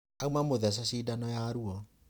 Auma mũthece cindano ya rũo.